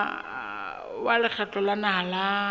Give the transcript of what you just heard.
wa lekgotla la naha la